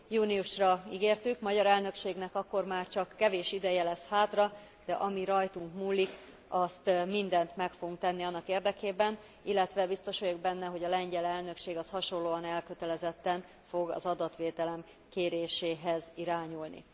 Júniusra ígértük, a magyar elnökségnek akkor már csak kevés ideje lesz hátra, de ami rajtunk múlik, mindent meg fogunk tenni annak érdekében, illetve biztos vagyok benne, hogy a lengyel elnökség hasonlóan elkötelezetten fog az adatvédelem kéréséhez irányulni.